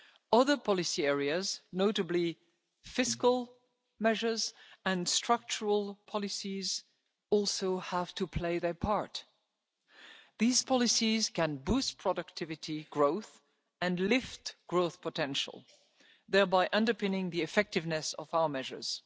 Other policy areas notably fiscal measures and structural polices also have to play their part. These policies can boost productivity growth and lift growth potential, thereby underpinning the effectiveness of our measures.